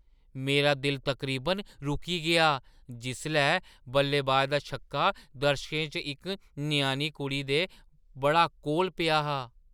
मेरा दिल तकरीबन रुकी गेआ जिसलै बल्लेबाज दा छीका दर्शकें च इक ञ्याणी कुड़ी दे बड़ा कोल पेआ हा।